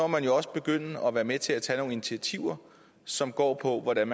man jo også begynde at være med til at tage nogle initiativer som går på hvordan